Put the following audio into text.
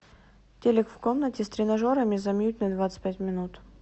телик в комнате с тренажерами замьють на двадцать пять минут